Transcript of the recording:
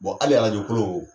Bon hali arajo kolon